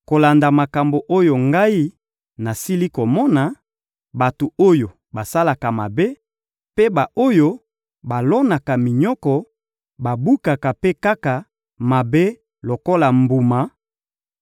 Kolanda makambo oyo ngai nasili komona, bato oyo basalaka mabe, mpe ba-oyo balonaka minyoko, babukaka mpe kaka mabe lokola mbuma;